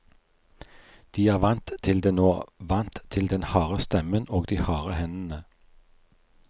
De er vant til det nå, vant til den harde stemmen og de harde hendene.